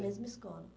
mesma escola.